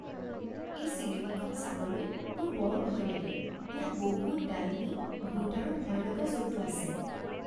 এই চিনেমাখন চাবলৈ মোৰ বৰ ভয় লাগে। ইয়াত বহুত ডাইনী, ভূত আৰু ভয়লগা জন্তু আছে।